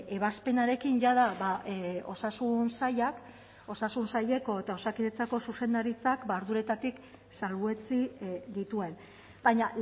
ebazpenarekin jada osasun sailak osasun saileko eta osakidetzako zuzendaritzak arduretatik salbuetsi dituen baina